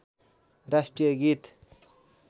राष्ट्रिय गीत